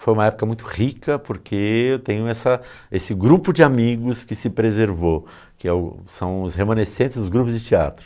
Foi uma época muito rica porque eu tenho essa esse grupo de amigos que se preservou, que é o são os remanescentes dos grupos de teatro.